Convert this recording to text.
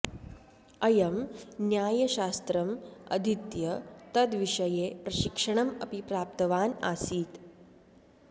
अयं न्यायशास्त्रम् अधीत्य तद्विषये प्रशिक्षणम् अपि प्राप्तवान् आसीत्